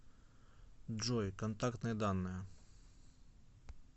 джой контактные данные